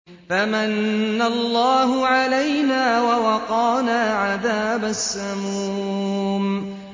فَمَنَّ اللَّهُ عَلَيْنَا وَوَقَانَا عَذَابَ السَّمُومِ